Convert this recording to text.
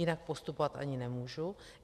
Jinak postupovat ani nemůžu.